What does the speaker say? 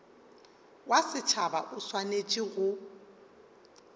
wa setšhaba o swanetše go